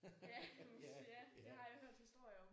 Ja ja det har jeg hørt historier om